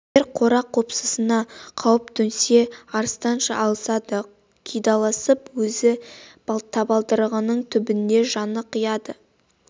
егер қора-қопсысына қауіп төнсе арыстанша алысады қидаласып өз табалдырығының түбінде жанын қияды